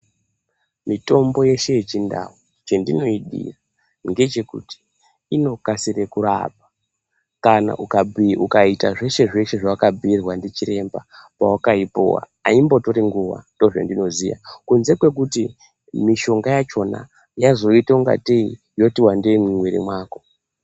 Mitombo yeshe yechindau chandinoidira ngechekuti inokasire kurapa kana ukaita zveshe zveshe zvawakabhuirwa ndichiremba pawakaipiwa haimbotori nguva ndozvandinoziya kunze kwekuti mishonga yacho yazoitangatei yawanda mumwiri mako.